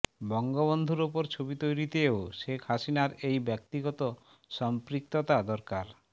বঙ্গবন্ধুর ওপর ছবি তৈরিতেও শেখ হাসিনার এই ব্যক্তিগত সম্পৃক্ততা দরকার